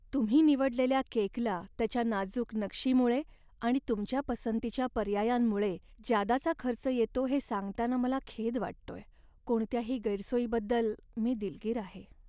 तुम्ही निवडलेल्या केकला त्याच्या नाजूक नक्षीमुळे आणि तुमच्या पसंतीच्या पर्यायांमुळे ज्यादाचा खर्च येतो हे सांगताना मला खेद वाटतोय. कोणत्याही गैरसोयीबद्दल मी दिलगीर आहे.